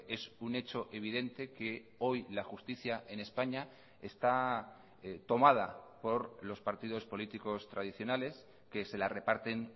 es un hecho evidente que hoy la justicia en españa está tomada por los partidos políticos tradicionales que se la reparten